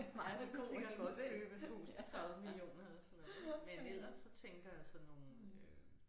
Ja de kunne sikkert godt købe et hus til 30 millioner eller sådan noget men ellers så tænker jeg sådan nogle øh